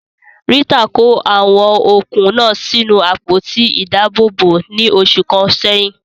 Rita kó àwọn okùn náà sínú àpótí ìdáàbòbò ní oṣù kan sẹ́yìn.